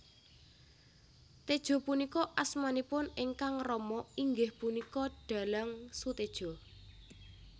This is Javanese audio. Tejo punika asmanipun ingkang rama inggih punika dhalang Soetedjo